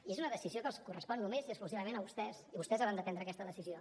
i és una decisió que els correspon només i exclusivament a vostès i vostès hauran de prendre aquesta decisió